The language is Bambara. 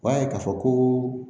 U b'a ye k'a fɔ ko